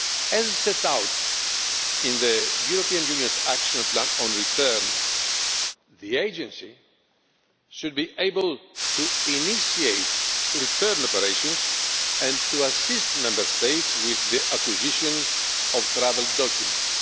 corps. As set out in the European Union's action plan on return, the Agency should be able to initiate return operations and to assist Member States with the acquisition of travel documents.